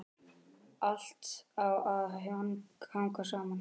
Allt á að hanga saman.